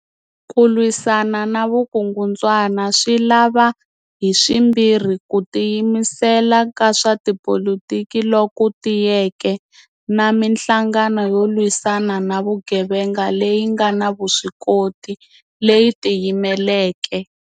Ku lwisana na vukungundzwana swi lava haswimbirhi ku tiyimisela ka swa tipolitiki loku tiyeke na mihlangano yo lwisana na vugevenga leyi nga na vuswikoti, leyi tiyimeleke.